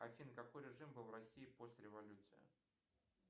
афина какой режим был в россии после революции